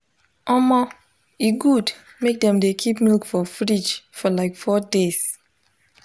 omo e good mk dem de keep milk for fridge for like four days